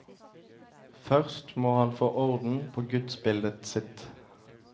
Først må han få orden på gudsbildet sitt.